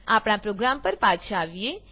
આપણા પ્રોગ્રામ પર પાછા આવીએ